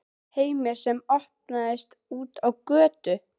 HEIMUR SEM OPNAST ÚT Á GÖTU